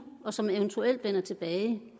og som eventuelt vender tilbage det